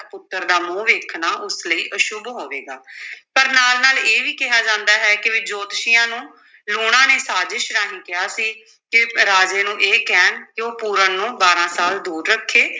ਪੁੱਤਰ ਦਾ ਮੂੰਹ ਵੇਖਣਾ ਉਸ ਲਈ ਅਸ਼ੁੱਭ ਹੋਵੇਗਾ ਪਰ ਨਾਲ ਨਾਲ ਇਹ ਵੀ ਕਿਹਾ ਜਾਂਦਾ ਹੈ ਕਿ ਵੀ ਜੋਤਸ਼ੀਆਂ ਨੂੰ ਲੂਣਾ ਨੇ ਸਾਜ਼ਿਸ਼ ਰਾਹੀ ਕਿਹਾ ਸੀ ਕਿ ਰਾਜੇ ਨੂੰ ਇਹ ਕਹਿਣ ਕਿ ਉਹ ਪੂਰਨ ਨੂੰ ਬਾਰਾਂ ਸਾਲ ਦੂਰ ਰੱਖੇ।